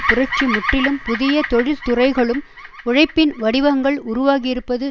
புரட்சி முற்றிலும் புதிய தொழில்துறைகளும் உழைப்பின் வடிவங்கள் உருவாகியிருப்பது